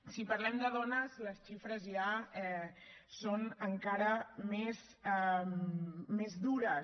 si parlem de dones les xifres ja són encara més dures